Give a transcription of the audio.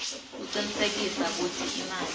kucinisekisa kutsi imali